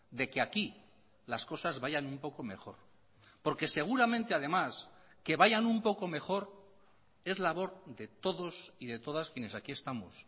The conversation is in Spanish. de que aquí las cosas vayan un poco mejor porque seguramente además que vayan un poco mejor es labor de todos y de todas quienes aquí estamos